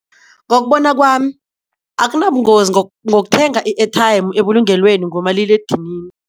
Ngokubona kwami akunabungozi ngokuthenga i-airtie ebulungelweni ngomaliledinini.